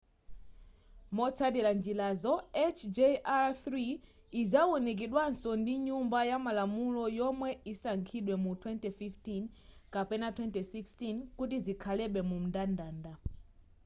motsatira njirazo hjr-3 izawunikidwaso ndi nyumba yamalamulo yomwe isankhidwe mu 2015 kapena 2016 kuti zikhalebe mumndandanda